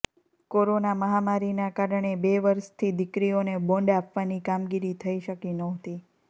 corona મહામારીના કારણે બે વર્ષથી દીકરીઓને બોન્ડ આપવાની કામગીરી થઇ શકી નહોતી